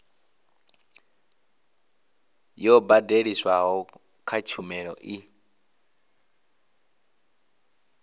yo badeliswaho kha tshumelo i